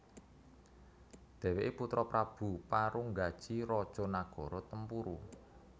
Dheweke putra Prabu Parunggaji raja nagara Tempuru